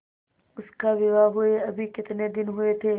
उसका विवाह हुए अभी कितने दिन हुए थे